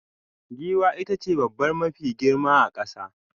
Giwa itace dabba mafi girma a kasa.